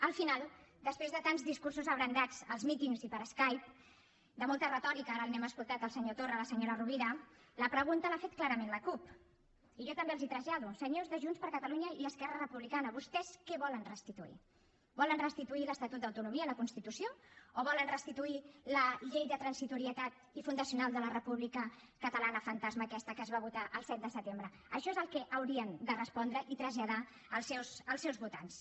al final després de tants discursos abrandats als mítings i per skype de molta retòrica ara li n’hem escoltat al senyor torra a la senyora rovira la pregunta l’ha fet clarament la cup i jo també els hi trasllado senyors de junts per catalunya i esquerra republicana vostès què volen restituir volen restituir l’estatut d’autonomia i la constitució o volen restituir la llei de transitorietat i fundacional de la república catalana fantasma aquesta que es va votar el set de setembre això és el que haurien de respondre i traslladar als seus votants